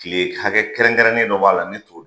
Kile hakɛ kɛrɛnkɛrɛnnen dɔ b'a la, ne t'o